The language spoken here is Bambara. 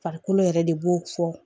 Farikolo yɛrɛ de b'o fɔ